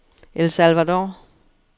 El Salvador